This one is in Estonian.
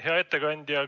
Hea ettekandja!